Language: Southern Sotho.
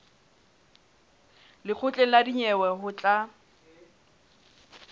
lekgotleng la dinyewe ho tla